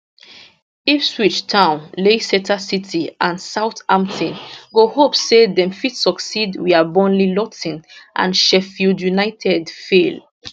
ipswich town leicester city and southampton go hope say dem fit succeed wia burnley luton and sheffield united fail